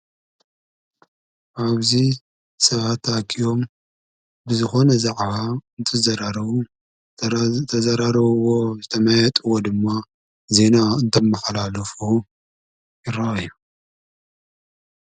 ኣብዙይ ሰባታ ተኣኪቦም ብዝኾነ ዛዕባ እንትዘራረቡን ተዘራሪቦም ዝተማያየጥዎ ድማ ዜና እንተመሓላልፉ ይረ ኣዩ